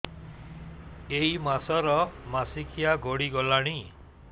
ଏଇ ମାସ ର ମାସିକିଆ ଗଡି ଗଲାଣି